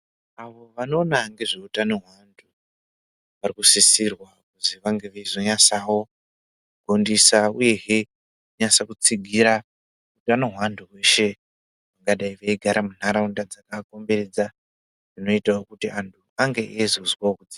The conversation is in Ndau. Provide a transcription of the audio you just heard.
Vantu vanoona ngezveutano hwevantu, varikusisirwa kunzi vange veizonyatsawo kufundiswa uyezve veinyatsa kudzigira utano hwevantu veshe veigara muntaraunda dzakakomberedza zvinoita kuti antu ange eizoswawo kudzi..